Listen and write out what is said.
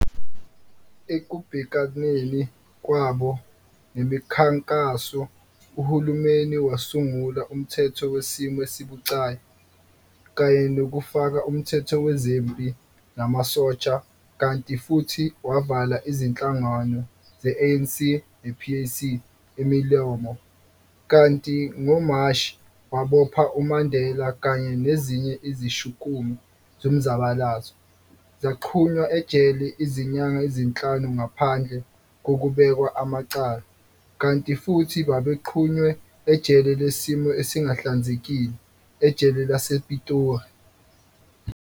Ekubhekaneni kwabo nemikhankaso, uhulumeni wasungula umthetho wesimo esibucayi, kanye nokufaka umthetho wezempi namasosha, kanti futhi wavala izinhlangano ze-ANC ne-PAC imilomo, kanti ngoMashi wabopha uMandela kanye nezinye izishukumi zomzabalazo, zagqunywa ejele izinyanga ezinhlanu ngaphandle kokubekwa amacala, kanti futhi babegqunywe ejele lesimo esingahlanzekile ejele lasePitori.